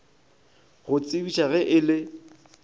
go tsebiša ge e le